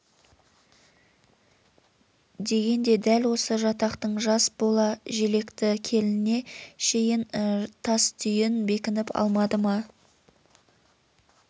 дегенде дәл осы жатақтың жас бола желекті келініне шейін тас түйін бекініп алмады ма